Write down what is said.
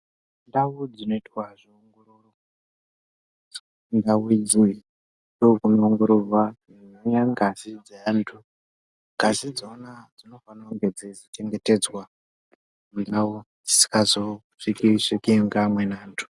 Ndau dzinoitwa zveongororo, ndau idzona ndokunoongororwa, kunouya ngazi ngazi dzeantu, ngazi idzona dzinofane kunge dzeizochengetedzwa kuite kuti dzisazosvikwe svikwe ngeamweni antu.